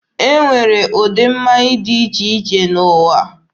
E nwere ụdị mmanya dị iche iche n'ụwa.